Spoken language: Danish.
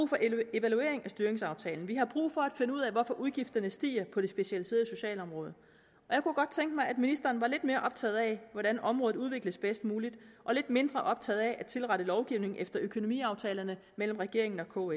evaluering af styringsaftalen vi har brug for at finde ud af hvorfor udgifterne stiger på det specialiserede socialområde og jeg kunne godt tænke mig at ministeren var lidt mere optaget af hvordan området udvikles bedst muligt og lidt mindre optaget af at tilrette lovgivningen efter økonomiaftalerne mellem regeringen og